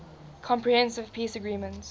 comprehensive peace agreement